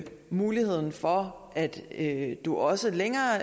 muligheden for at du også længere